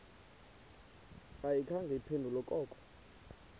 ayikhange iphendule koko